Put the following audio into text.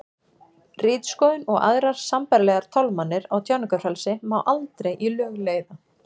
ritskoðun og aðrar sambærilegar tálmanir á tjáningarfrelsi má aldrei í lög leiða